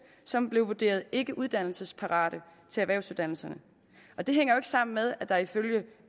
som blev vurderet ikkeuddannelsesparate til erhvervsuddannelserne og det hænger jo ikke sammen med at der ifølge